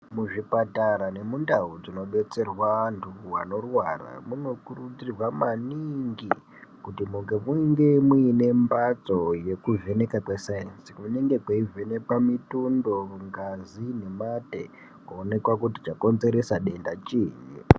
Muzvipatara nemundau dzinobetserwa antu vanorwara munokurudzirwa maningi kuti munge muine mbatso yekuvhenekwa kwesaenzi. Kunenge kweivhenekwa mitundo, ngazi nemate kuoneka kuti chakonzeresa denda chiiyi.